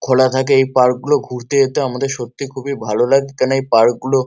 খোলা থাকে পার্ক গুলো ঘুরতে যেতে সত্যি খুব ভালো লাগে কারন এই পার্ক গুলো--